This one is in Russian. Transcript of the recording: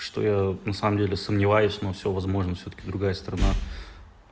что я вот на самом деле сомневаюсь но всё возможно всё-таки другая страна